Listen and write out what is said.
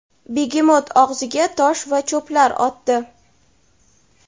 begemot og‘ziga tosh va cho‘plar otdi.